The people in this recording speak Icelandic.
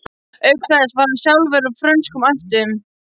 Auk þess var hann sjálfur af frönskum ættum.